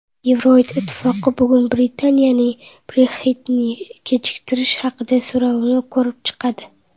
Yevroittifoq bugun Britaniyaning Brexit’ni kechiktirish haqidagi so‘rovini ko‘rib chiqadi.